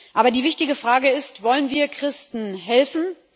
Aber die wichtige Frage ist Wollen wir Christen helfen?